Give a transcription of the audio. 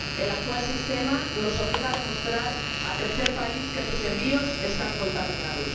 El actual sistema nos obliga a demostrar al tercer país que sus envíos están contaminados.